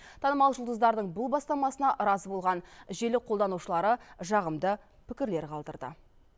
танымал жұлдыздардың бұл бастамасына разы болған желі қолданушылары жағымды пікірлер қалдырды